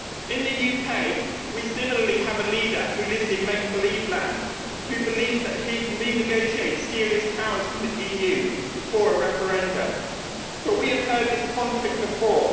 In the UK we also have a leader who lives in make believe land and who believes that he can renegotiate serious powers from the EU before a referendum. But we have heard this con trick before.